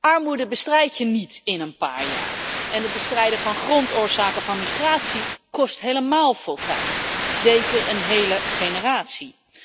Armoede bestrijdt je niet in een paar jaar en het bestrijden van grondoorzaken van migratie kost helemaal veel tijd zeker een hele generatie.